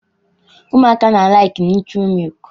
Ụmụaka na-alaịkị nụtrị mịlịkị